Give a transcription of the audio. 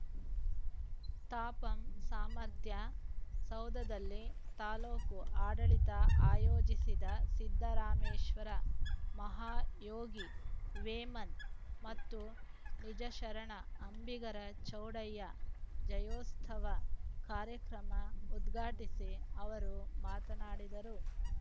ತಾಪಂ ಸಾಮರ್ಥ್ಯ ಸೌಧದಲ್ಲಿ ತಾಲೂಕು ಆಡಳಿತ ಆಯೋಜಿಸಿದ್ದ ಸಿದ್ದರಾಮೇಶ್ವರ ಮಹಾಯೋಗಿ ವೇಮನ ಮತ್ತು ನಿಜಶರಣ ಅಂಬಿಗರ ಚೌಡಯ್ಯ ಜಯಂತ್ಯುತ್ಸವ ಕಾರ್ಯಕ್ರಮ ಉದ್ಘಾಟಿಸಿ ಅವರು ಮಾತನಾಡಿದರು